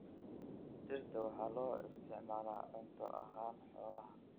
Dhirta waxaa loo isticmaalaa cunto ahaan xoolaha.